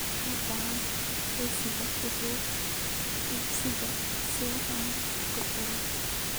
Uma baahni liiska wax iibsiga si aan u tirtiro